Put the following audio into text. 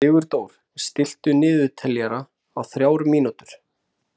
Sigurdór, stilltu niðurteljara á þrjár mínútur.